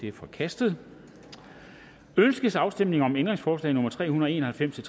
er forkastet ønskes afstemning om ændringsforslag nummer tre hundrede og en og halvfems til